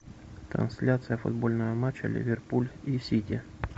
трансляция футбольного матча ливерпуль и сити